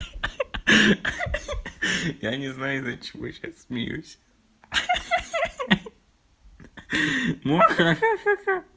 ха ха ха я не знаю из-за чего я сейчас смеюсь ха ха ха